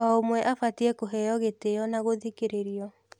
O ũmwe abatie kũheo gĩtĩo na gũthikĩrĩrio.